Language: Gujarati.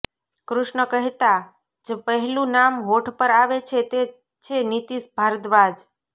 કૃષ્ણ કહેતા જ પહેલું નામ હોઠ પર આવે છે તે છે નીતીશ ભારદ્વાજ